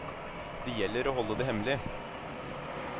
Det gjelder å holde det hemmelig.